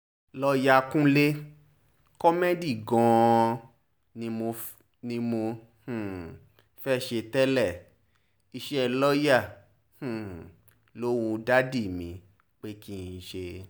lọ́ọ́yà kúnlẹ̀ kómẹgì gan-an kọ́ ni mo um fẹ́ẹ́ ṣe tẹ́lẹ̀ iṣẹ́ lọ́ọ̀yà um ló wu dádì mi pé kí n ṣe